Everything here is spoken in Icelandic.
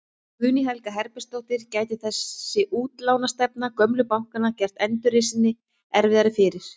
Guðný Helga Herbertsdóttir: Gæti þessi útlánastefna gömlu bankanna gert endurreisninni erfiðara fyrir?